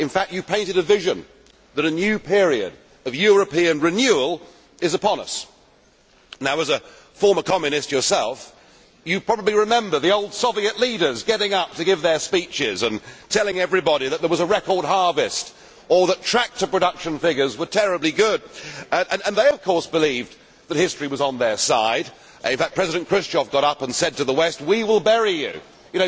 In fact you painted a vision that a new period of European renewal is upon us. As a former Communist yourself you probably remember the old Soviet leaders getting up to give their speeches and telling everybody that there was a record harvest or that tractor production figures were terribly good, and they of course believed that history was on their side. In fact President Khrushchev got up and said to the West we will bury you.